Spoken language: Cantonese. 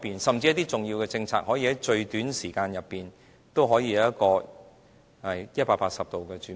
甚至一些重要的政策，可以在最短的時間裏180度轉變？